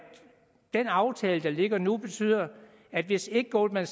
den aftale der ligger nu betyder at hvis ikke goldman